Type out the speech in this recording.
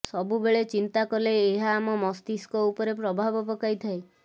ସବୁବେଳେ ଚିନ୍ତା କଲେ ଏହା ଆମ ମସ୍ତିଷ୍କ ଉପରେ ପ୍ରଭାବ ପକାଇଥାଏ